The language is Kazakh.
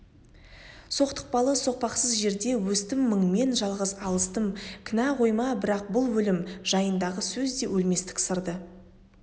соқтықпалы соқпақсыз жерде өстім мыңмен жалғыз алыстым кінә қойма бірақ бұл өлім жайындағы сөзде өлместік сырды